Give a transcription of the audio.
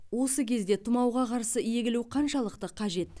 осы күзде тұмауға қарсы егілу қаншалықты қажет